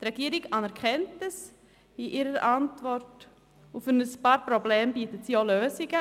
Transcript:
Die Regierung anerkennt dies in ihrer Antwort, und für einige Probleme bietet sie auch Lösungen.